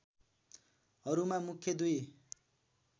हरूमा मुख्य दुई